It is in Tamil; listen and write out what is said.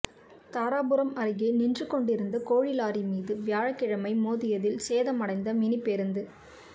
தாராபுரம் அருகே நின்று கொண்டிருந் த கோழி லாரி மீது வியாழக்கிழமை மோதியதில் சேதமடைந்த மினி பேருந்து